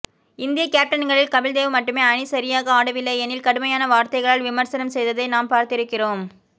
இந்திய கேப்டன்களில் கபில்தேவ் மட்டுமே அணி சரியாக ஆடவில்லையெனில் கடுமையான வார்த்தைகளால் விமர்சனம் செய்ததை நாம் பார்த்திருக்கிறோம்